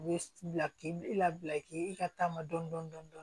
U bɛ bila k'i labila k'i ka taama dɔɔnin dɔɔnin